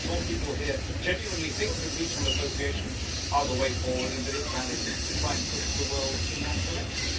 I'm sure people here genuinely think that regional associations are the way forward and that is valid to try and push the world in that direction.